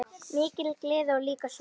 Mikil gleði og líka sorgir.